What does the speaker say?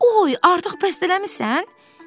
Oy, artıq bəstələmisən?